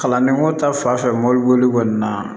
Kalandenko ta fan fɛ mobili boli kɔni na